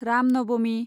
Ram Navami